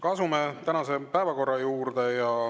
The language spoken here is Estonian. Asume tänase päevakorra juurde.